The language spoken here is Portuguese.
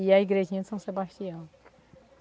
E a igrejinha de São Sebastião.